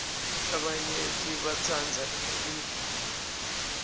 labanyenti batsandza ikwayito